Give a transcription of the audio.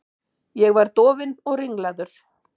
Ég var dofinn og ringlaður.